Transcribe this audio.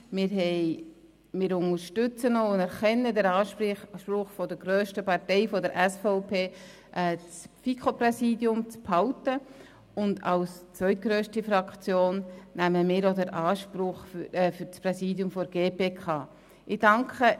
Wir unterstützen und anerkennen den Anspruch der grössten Partei, der SVP, das FiKo-Präsidium zu behalten, und als zweitgrösste Fraktion nehmen wir das Präsidium der GPK in Anspruch.